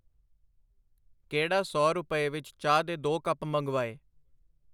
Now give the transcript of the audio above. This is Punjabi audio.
ਕਿਹੜਾ ਸੌ ਰੁਪਏ ਵਿੱਚ ਚਾਹ ਦੇ ਦੋ ਕੱਪ ਮੰਗਵਾਏ.